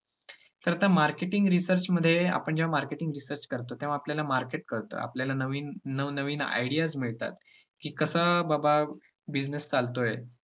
तर आता marketing research मध्ये आपण जेव्हा marketing research करतो तेव्हा आपल्याला market कळतो आपल्याला नव-नवीन ideas मिळतात की कसा बाबा business चालतोय.